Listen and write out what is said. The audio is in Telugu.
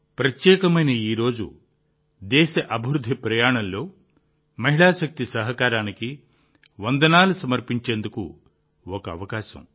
ప్రత్యేకమైన ఈ రోజు దేశ అభివృద్ధి ప్రయాణంలో మహిళా శక్తి సహకారానికి వందనాలు సమర్పించేందుకు ఒక అవకాశం